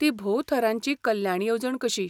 ती भोव थरांची कल्याण येवजण कशी.